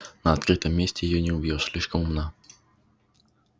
на открытом месте её не убьёшь слишком умна